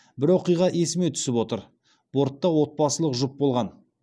бір оқиға есіме түсіп отыр бортта отбасылық жұп болған